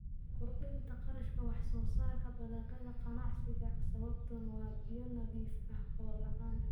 Kordhinta kharashka wax-soo-saarka dalagyada ganacsiga sababtuna waa biyo nadiif ah oo la'aan.